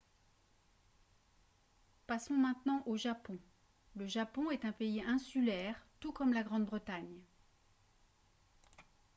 passons maintenant au japon le japon est un pays insulaire tout comme la grande-bretagne